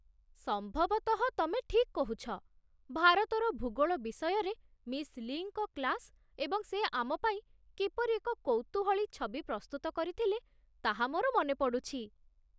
ସମ୍ଭବତଃ, ତମେ ଠିକ୍ କହୁଛ ! ଭାରତର ଭୂଗୋଳ ବିଷୟରେ ମିସ୍ ଲି'ଙ୍କ କ୍ଲାସ୍ ଏବଂ ସେ ଆମ ପାଇଁ କିପରି ଏକ କୌତୂହଳୀ ଛବି ପ୍ରସ୍ତୁତ କରିଥିଲେ ତାହା ମୋର ମନେ ପଡ଼ୁଛି